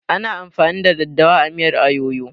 Ana amfani da daddawa a miyar ayoyo